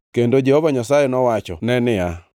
kendo Jehova Nyasaye nowachone niya,